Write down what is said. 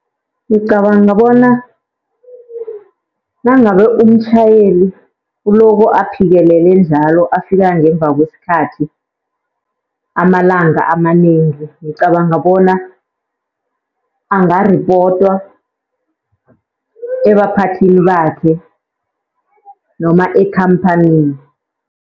Ngicabanga bona nangabe umtjhayeli uloko aphikelele njalo afika ngemva kwesikhathi amalanga amanengi. Ngicabanga bona angaripotwa ebaphathini bakhe noma ekhamphanini.